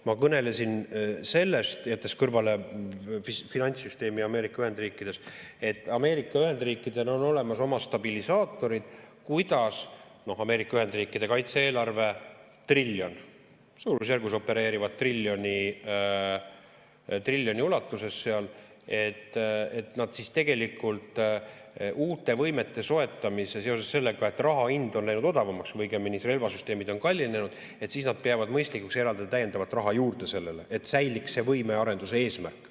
Ma kõnelesin sellest, jättes kõrvale finantssüsteemi Ameerika Ühendriikides, et Ameerika Ühendriikidel on olemas oma stabilisaatorid, kuidas – Ameerika Ühendriikide kaitse-eelarve on suurusjärgus triljon, nad opereerivad triljoni ulatuses seal – nad uute võimete soetamiseks ja seoses sellega, et raha hind on läinud odavamaks või õigemini relvasüsteemid on kallinenud, peavad mõistlikuks eraldada täiendavat raha selleks, et säiliks võimearenduse eesmärk.